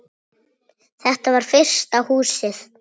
Þetta var fyrsta Húsið.